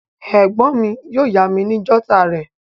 Ègbón mi yio yá mi ni jotter rè